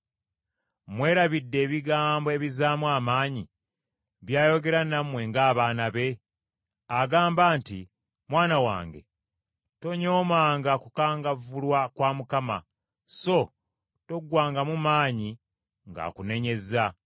Mwerabidde ebigambo ebizzaamu amaanyi byayogera nammwe ng’abaana be? Agamba nti, “Mwana wange, tonyoomanga kukangavvulwa kwa Mukama, so toggwangamu maanyi ng’akunenyezza.